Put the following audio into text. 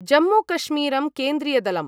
जम्मूकश्मीरम् केन्द्रीयदलम्